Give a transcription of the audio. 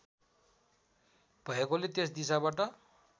भएकोले त्यस दिशाबाट